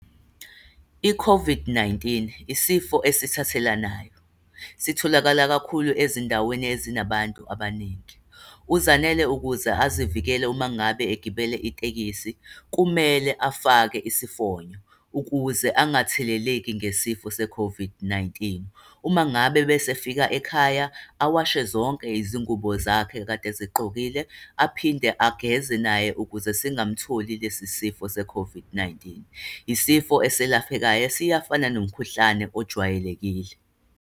I-COVID-19, isifo esithathelanayo. Sitholakala kakhulu ezindaweni ezinabantu abaningi. UZanele ukuze azivikele uma ngabe egibele itekisi, kumele afake isifonyo, ukuze angatheleleki ngesifo se-COVID-19. Uma ngabe bese efika ekhaya, awashe zonke izingubo zakhe ekade ezigqokile, aphinde ageze naye ukuze singamutholi lesi sifo se-COVID-19. Isifo eselaphekayo, siyafana nomkhuhlane ojwayelekile.